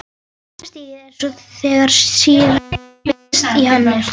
Annað stigið er svo þegar sýra myndast í henni.